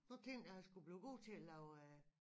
Prøv at tænke jeg har sgu blevet god til at lave